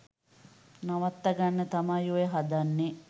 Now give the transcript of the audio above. නවත්තගන්න තමයි ඔය හදන්නෙ.